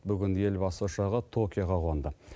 бүгін елбасы ұшағы токиоға қонды